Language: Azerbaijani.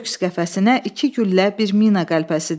Köks qəfəsinə iki güllə, bir mina qəlpəsi dəyib.